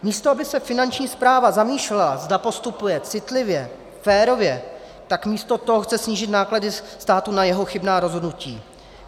Místo aby se Finanční správa zamýšlela, zda postupuje citlivě, férově, tak místo toho chce snížit náklady státu na jeho chybná rozhodnutí.